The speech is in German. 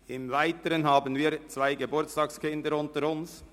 Im Weiteren haben wir zwei Geburtstagskinder unter uns.